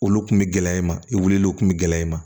Olu kun bɛ gɛlɛya i ma i wulilen kun bɛ gɛlɛya i ma